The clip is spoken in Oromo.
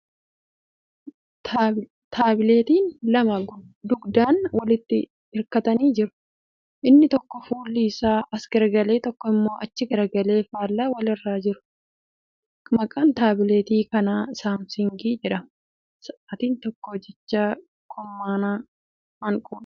Taabileetiin lama gugdaan walitti hirkatanii jiru . Inni tokko fuulli isaa as garagalee tokko immoo achi garagalee faallaa wal irraa jiru. Maqaan taabileetii kanaa saamsangii jedhama . Sa'aatiin tokko jechaa kurmaanaa hanquudha.